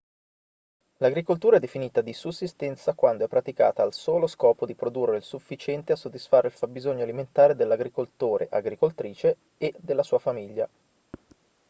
l'agricoltura è definita di sussistenza quando è praticata al solo scopo di produrre il sufficiente a soddisfare il fabbisogno alimentare dell'agricoltore/agricoltrice e della sua famiglia